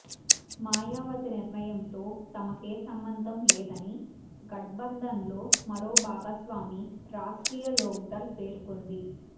మాయవతి నిర్ణయంతో తమకేసంబంధం లేదని గఠ్బంధన్లో మరో భాగస్వామి రాష్ట్రీయ లోక్దళ్ పేర్కొంది